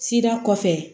Sira kɔfɛ